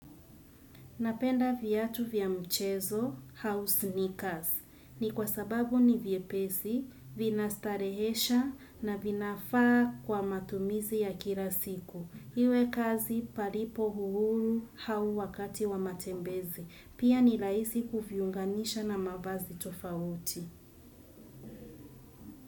Napenda viatu vya mchezo au sneakers, ni kwa sababu ni vyepesi, vina starehesha na vinafaa kwa matumizi ya kila siku. Iwe kazi palipo uhuru au wakati wa matembezi. Pia nirahisi kuviunganisha na mavazi tofauti.